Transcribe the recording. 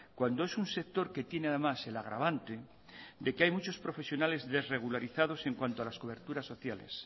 cuando es un sector que tiene además el agravante de que hay muchos profesionales desrregularizados en cuanto a las coberturas sociales